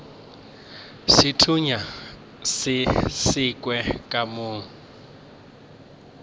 sethunya se sekhwi ka mo